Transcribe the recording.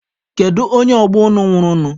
Kedu onye ọgbọ unu nwụrụ nụ?